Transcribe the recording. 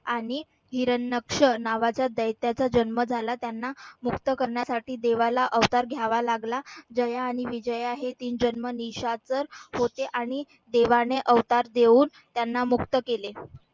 आणि नावाचा दैत्याचा जन्म झाला त्यांना मुक्त करण्यासाठी देवाला अवतार घ्यावा लागला जया आणि विजया हे तीन जन्म निशाचर होते आणि देवाने अवतार देऊन त्यांना मुक्त केले.